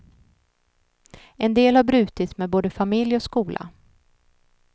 En del har brutit med både familj och skola.